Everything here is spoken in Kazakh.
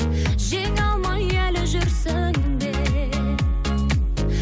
жеңе алмай әлі жүрсің бе